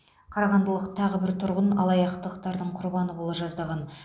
қарағандылық тағы бір тұрғын алаяқтықтардың құрбаны бола жаздаған